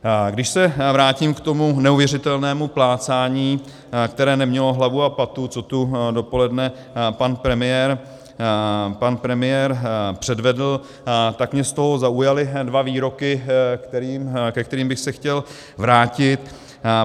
Když se vrátím k tomu neuvěřitelnému plácání, které nemělo hlavu a patu, co tu dopoledne pan premiér předvedl, tak mě z toho zaujaly dva výroky, ke kterým bych se chtěl vrátit.